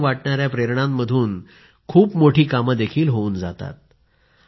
सामान्य वाटणाऱ्या प्रेरणांमधून खूप मोठी कामं देखील होऊन जातात